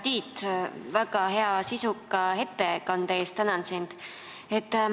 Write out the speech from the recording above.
Hea Tiit, tänan sind väga hea sisuka ettekande eest!